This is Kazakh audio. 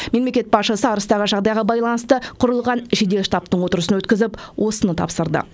мемлекет басшысы арыстағы жағдайға байланысты құрылған жедел штабтың отырысын өткізіп осыны тапсырды